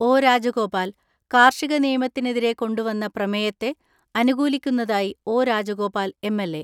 ഒ.രാജഗോപാൽ കാർഷിക നിയമത്തിനെതിരെ കൊണ്ടു വന്ന പ്രമേയത്തെ അനുകൂലിക്കുന്നതായി ഒ.രാജഗോപാൽ എം.എൽ.എ.